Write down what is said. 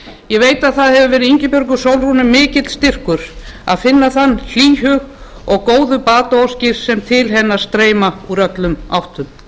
ég veit að það hefur verið ingibjörgu sólrúnu mikill styrkur að finna þann hlýhug og góðu bataóskir sem til hennar streyma úr öllum áttum